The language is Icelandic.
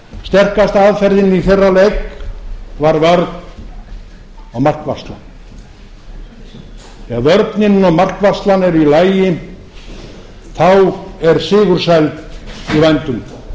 sterkasta aðferðin í þeirra leik var vörn og markvarsla ef vörnin og markvarslan eru í lagi þá er sigursæld í hönd þá